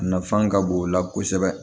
A nafan ka bon o la kosɛbɛ